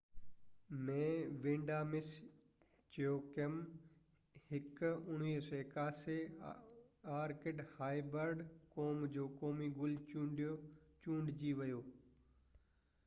1981 ۾ Vanda Miss Joaquim هڪ orchid hybrid قوم جو قومي گل چونڊجي ويو